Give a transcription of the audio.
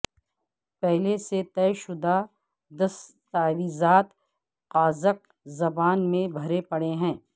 پہلے سے طے شدہ دستاویزات قازق زبان میں بھرے پڑے ہیں